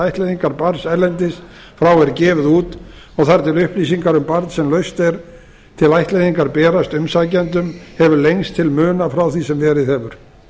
ættleiðingar barns erlendis frá er gefið út og þar til upplýsingar um barn sem laust er til ættleiðingar berast umsækjendum hefur lengst til muna frá því sem verið hefur